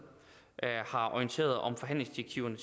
har orienteret om forhandlingsdirektiverne